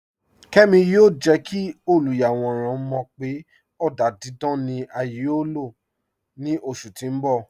Kẹ́mi yóò jẹ́ kí olúyàwọ̀ràn mọ̀ pé ọ̀dà dídán ni à yóò ní ilò ní oṣù tí n bọ̀.